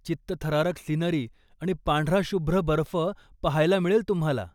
चित्तथरारक सिनरी आणि पांढरा शुभ्र बर्फ पाहायला मिळेल तुम्हाला.